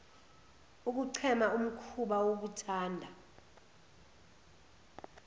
ukuchema umhkuba wokuthanda